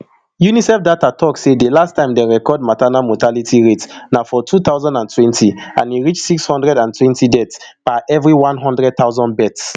unicef data tok say di last time dem record maternal mortality rate na for two thousand and twenty and e reach six hundred and twenty deaths per every one hundred thousand births